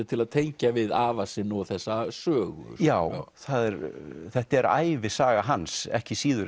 til að tengja við afa sinn og þessa sögu já þetta er ævisaga hans ekki síður